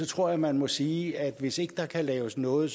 tror man må sige at hvis ikke der kan laves noget